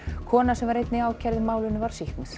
kona sem var einnig ákærð í málinu var sýknuð